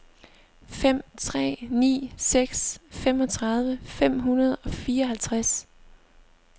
fem tre ni seks femogtredive fem hundrede og fireoghalvtreds